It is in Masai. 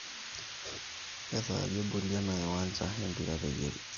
kesaaja eboli ena kiwanja e mpira peyie ajing